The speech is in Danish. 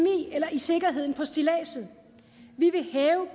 eller i sikkerheden på stilladset vi vil hæve